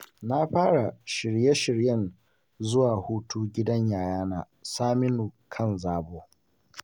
Na fara shirye-shiryen zuwa hutu gidan Yayana Saminu kan zabo.